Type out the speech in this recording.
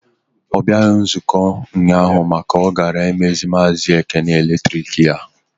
Ọ bịaghị nzukọ ụnyaahụ maka na ọ gara imeziri maazi Ekene eletrik ya.